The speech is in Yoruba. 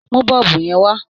Mú bọ́ọ̀bù yẹn wá!